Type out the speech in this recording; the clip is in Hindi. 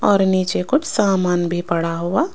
और नीचे कुछ सामान भी पड़ा हुआ--